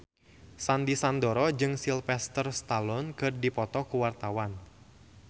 Sandy Sandoro jeung Sylvester Stallone keur dipoto ku wartawan